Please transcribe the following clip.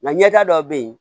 Nka ɲɛta dɔ bɛ yen